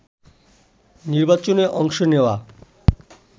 নির্বাচনে অংশ নেয়া